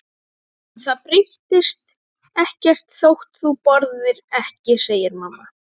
En það breytist ekkert þótt þú borðir ekki, segir mamma.